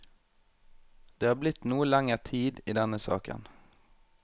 Det har blitt noe lenger tid i denne saken.